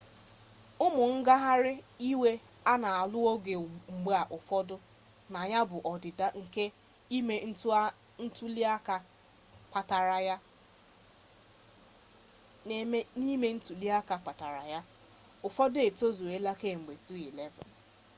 ụmụ ngagharị iwe a na-alụ ọgụ mgbe ụfọdụ na ya bụ ọdịda ime ntuli aka kpatara ya ụfọdụ etozuola kemgbe 2011